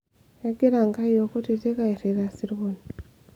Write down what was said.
kegira nkayiok kutiti airrita isirkon